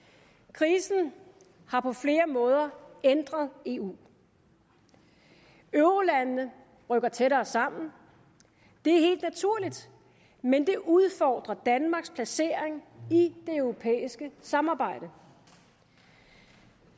krisen har på flere måder ændret eu eurolandene rykker tættere sammen det er helt naturligt men det udfordrer danmarks placering i det europæiske samarbejde